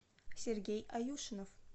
сергей аюшинов